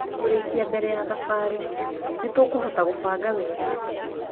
kũrĩkia mbere ya thabarĩ. Nĩ tũkũhota gũbanga wega.